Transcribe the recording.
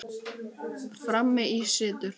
Frammi í situr